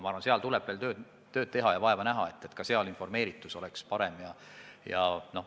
Samas tuleb veel tööd teha ja vaeva näha, et üldine informeeritus oleks parem.